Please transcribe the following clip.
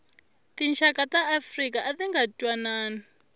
tinxaka ta afrika atinga ntwanani